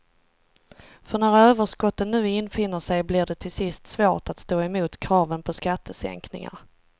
För när överskotten nu infinner sig blir det till sist svårt att stå emot kraven på skattesänkningar.